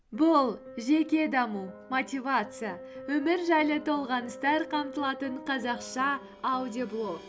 бұл жеке даму мотивация өмір жайлы толғаныстар қамтылатын қазақша аудиоблог